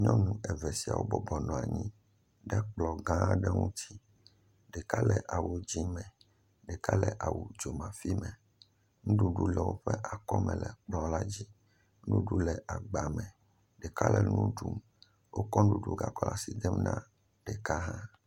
Nyɔnu eve siawo bɔbɔnɔ anyi ɖe kplɔ̃ gã ɖe ŋutsi, ɖeka le awu dzié me, ɖeka le awu dzomafi me, nuɖuɖu le woƒe akɔme le kplɔ̃ la dzi, nuɖu le agbame, ɖeka nu ɖum, wo kɔ nuɖuɖu ga kɔ le asi dem ne ɖeka hã.